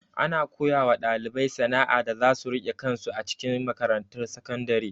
Ana koyawa ɗalibai sana'a da zasu rike kansu a cikin makarantar sakandare.